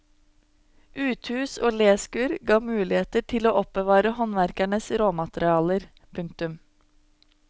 Uthus og léskur gav muligheter til å oppbevare håndverkernes råmaterialer. punktum